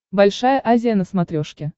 большая азия на смотрешке